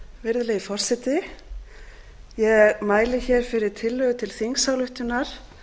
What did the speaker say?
virðulegi forseti ég mæli hér fyrir tillögu til þingsályktunar